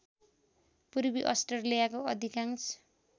पूर्वी अस्ट्रेलियाको अधिकांश